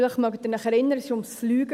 Vielleicht erinnern Sie sich.